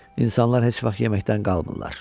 İnsanlar heç vaxt yeməkdən qalmırlar.